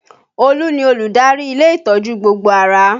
Olu ni olùdarí ilé ìtọ́jú gbogbo ara